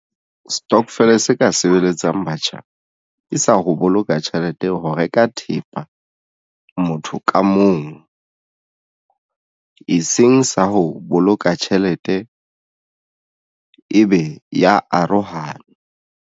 Stokvel se ka sebeletsang batjha ke sa ho boloka tjhelete ho reka thepa motho ka mong e seng sa ho boloka tjhelete ebe ya arohana.